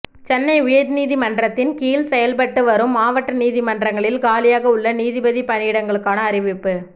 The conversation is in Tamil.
சென்னை உயர்நீதிமன்றத்தின் கீழ் செயல்பட்டு வரும் மாவட்ட நீதிமன்றங்களில் காலியாக உள்ள நீதிபதி பணியிடங்களுக்கான அறிவிப்பு